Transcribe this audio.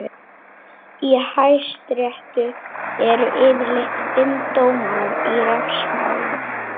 Í hæstarétti eru yfirleitt fimm dómarar í refsimálum.